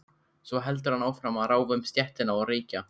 Svo heldur hann áfram að ráfa um stéttina og reykja.